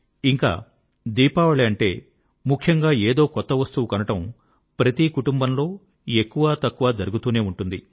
ఇంకా దీపావళి అంటే ముఖ్యంగా ఏదో కొత్తవస్తువు కొనడం ప్రతీ కుటుంబంలో ఎక్కువ తక్కువ జరుగుతూనే ఉంటుంది